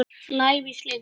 lævís leikur.